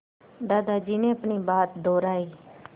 दादाजी ने अपनी बात दोहराई